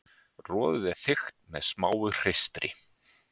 Roðið er þykkt með smáu hreistri.